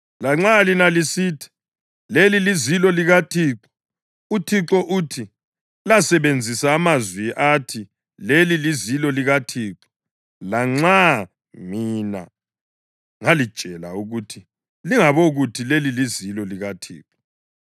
Lanxa lina lisithi, ‘Leli lizilo likaThixo,’ uThixo uthi: Lasebenzisa amazwi athi, ‘Leli lizilo likaThixo.’ Lanxa mina ngalitshela ukuthi lingabokuthi, ‘Leli lizilo likaThixo.’